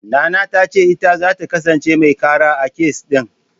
Nana ta ce ita zata kasance mai ƙara, a kes ɗin.